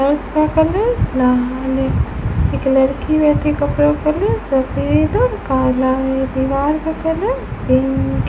फर्श का कलर लाल है एक लड़की बैठी कपड़ा पहने सफेद और काला है दीवार का कलर पिंक --